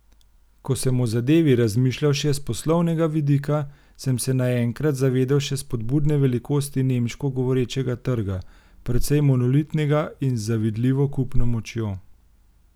Ko sem o zadevi razmišljal še s poslovnega vidika, sem se naenkrat zavedel še spodbudne velikosti nemško govorečega trga, precej monolitnega in z zavidljivo kupno močjo.